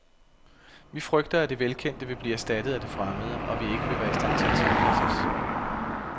Vi frygter, at det velkendte vil blive erstattet af det fremmede, og at vi ikke vil være i stand til at tilpasse os.